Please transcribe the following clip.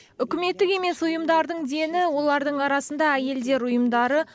үкіметтік емес ұйымдардың дені олардың арасында әйелдер ұйымдары